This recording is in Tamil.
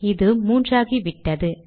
இது 3 ஆகிவிட்டது